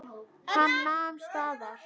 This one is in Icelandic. Hann nam staðar.